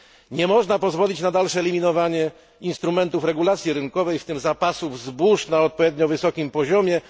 Nie można pozwolić na dalsze eliminowanie instrumentów regulacji rynkowej, w tym zapasów zbóż na odpowiednio wysokim poziomie.